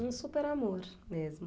Um super amor mesmo.